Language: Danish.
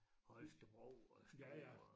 Holtsebro og Struer